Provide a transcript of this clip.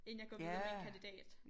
Inden jeg går videre med en kandidat